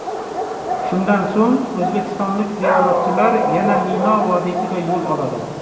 Shundan so‘ng, o‘zbekistonlik ziyoratchilar yana Mino vodiysiga yo‘l oladi.